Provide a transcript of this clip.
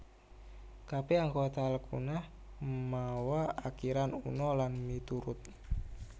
Kabèh anggota alkuna mawa akiran una lan miturut